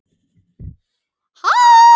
Sá lærir sem lifir.